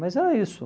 Mas era isso.